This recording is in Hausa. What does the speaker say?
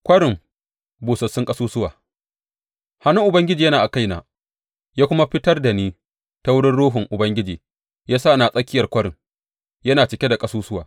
Kwarin busassun ƙasusuwa Hannun Ubangiji yana a kaina, ya kuma fitar da ni ta wurin Ruhun Ubangiji ya sa ni a tsakiyar kwarin; yana cike da ƙasusuwa.